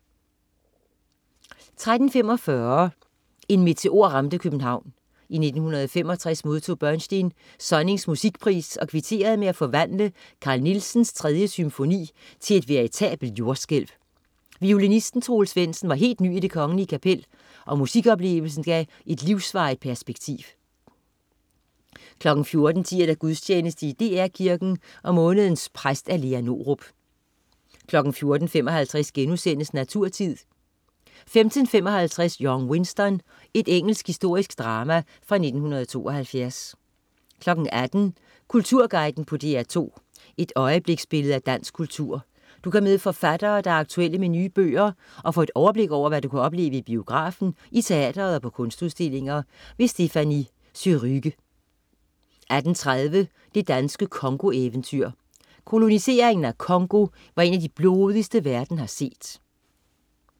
13.45 En meteor ramte København. I 1965 modtog Bernstein Sonnings Musikpris og kvitterede med at forvandle Carl Nielsens 3. symfoni til et veritabelt jordskælv. Violinisten Troels Svendsen var helt ny i Det kgl.Kapel, og musikoplevelsen gav et livsvarigt perspektiv 14.10 Gudstjeneste i DR Kirken. Månedens præst, Lea Norup 14.55 Naturtid* 15.55 Young Winston. Engelsk historisk drama fra 1972 18.00 Kulturguiden på DR2. Et øjebliksbillede af dansk kultur. Du kan møde forfattere, der er aktuelle med nye bøger, og få overblik over, hvad du kan opleve i biografen, i teatret og på kunstudstillinger. Stéphanie Surrugue 18.30 Det danske Congo-eventyr. Koloniseringen af Congo var en af de blodigste, verden har set